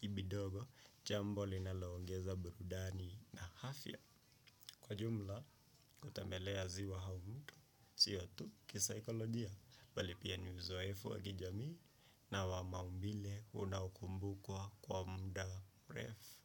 ibidogo, jambo linaloongeza burudani na hafya. Kwa jumla, kutembelea ziwa hau muto, siyo tu kisaikolojia, bali pia ni uzowefu wakijami na wamaumbile unaukumbukwa kwa muda mrefu.